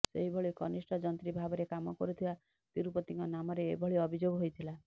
ସେହିଭଳି କନିଷ୍ଠ ଯନ୍ତ୍ରୀ ଭାବରେ କାମ କରୁଥିବା ତିରୁପତିଙ୍କ ନାମରେ ଏଭଳି ଅଭିଯୋଗ ହୋଇଥିଲା